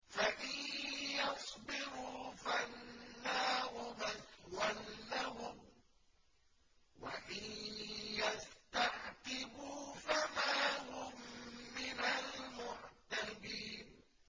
فَإِن يَصْبِرُوا فَالنَّارُ مَثْوًى لَّهُمْ ۖ وَإِن يَسْتَعْتِبُوا فَمَا هُم مِّنَ الْمُعْتَبِينَ